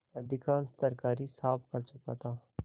अधिकांश तरकारी साफ कर चुका था